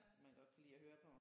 Man godt kan lide at høre på